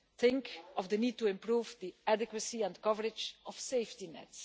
Think of the need to improve the adequacy and coverage of safety nets